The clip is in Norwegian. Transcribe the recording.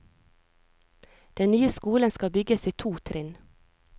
Den nye skolen skal bygges i to trinn.